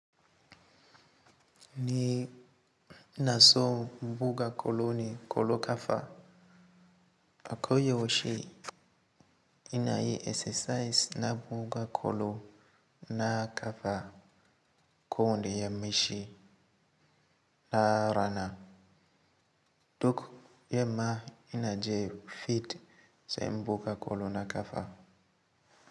Ni inaso inbuga kolo ne kolo kafa, akoyau she inayi esesais ina buga kolo na kafa kowane ya maci na rana. Duk yamma ina je fit se inbuga kolo na kafa.